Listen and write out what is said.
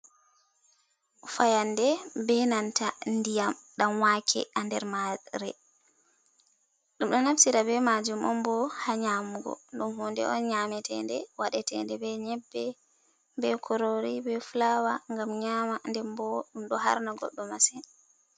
Fayande be nanta ndiyam ɗanwake ha nder mare. ndum ɗon naftira be majum on bo ha nyamugo. Ɗum hunde on bo nyamete, nde waɗete nde be nyebbe be kurori be fulaawa. Ngam nyama nden ɗum ɗon har na goɗɗo masin.